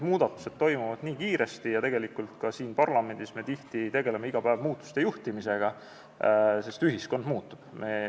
Muudatused toimuvad nii kiiresti ja ka siin parlamendis me tegeleme tihti muutuste juhtimisega, sest ühiskond muutub.